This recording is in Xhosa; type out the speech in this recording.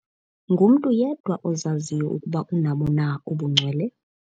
Ngumntu yedwa ozaziyo ukuba unabo na ubungcwele.